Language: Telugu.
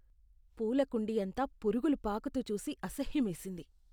పూల కుండీ అంతా పురుగులు పాకుతూ చూసి అసహ్యమేసింది.